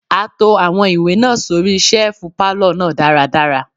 A to àwọn ìwé náà sóri ṣẹ́ẹ̀fù pálọ̀ náà dára dára.